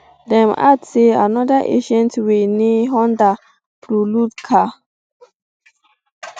dem add say anoda incident wey ne honda prelude car